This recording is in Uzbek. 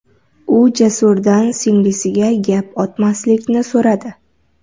U Jasurdan singlisiga gap otmaslikni so‘radi.